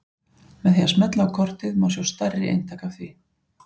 Með því að smella á kortið má sjá stærri eintak af því.